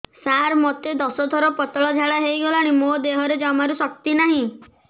ସାର ମୋତେ ଦଶ ଥର ପତଳା ଝାଡା ହେଇଗଲାଣି ମୋ ଦେହରେ ଜମାରୁ ଶକ୍ତି ନାହିଁ